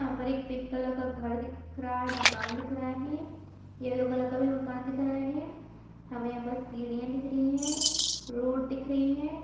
यहाँ पर एक पिंक कलर का घर दिख रहा है मकान दिख रहा है यल्लो कलर का भी मकान दिख रहा है हमें यहाँ पर सीढ़ियां दिख रही है रोड दिख रही है।